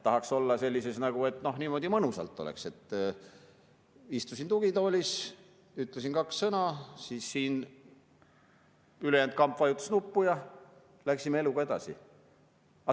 Tahaks, et niimoodi mõnusalt oleks: istusin tugitoolis, ütlesin kaks sõna, siis siin ülejäänud kamp vajutas nuppu ja läksime eluga edasi.